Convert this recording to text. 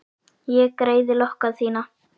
Ég greiði lokka þína.